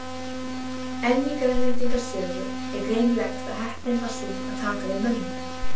En í Grænlendinga sögu er greinilegt að heppnin var sú að taka við mönnunum.